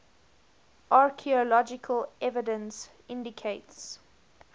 archaeological evidence indicates